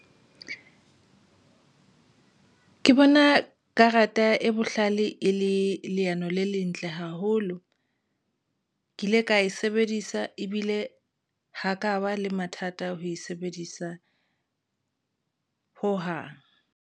Ke bona karata e bohlale e le leano le lentle haholo. Ke ile ka e sebedisa ebile ho ka ba le mathata ho e sebedisa hohang.